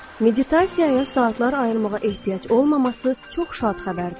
Meditasiyaya saatlar ayırmağa ehtiyac olmaması çox şad xəbərdir.